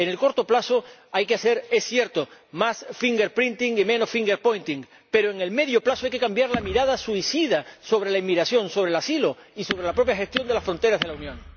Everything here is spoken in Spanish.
En el corto plazo, hay que hacer, es cierto, más fingerprinting y menos fingerpointing pero en el medio plazo hay que cambiar la mirada suicida sobre la inmigración, sobre el asilo y sobre la propia gestión de las fronteras de la Unión.